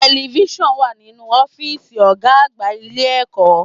Television wà nínú ọ́fìsì ọ̀gá àgbà ilé ẹ̀kọ́.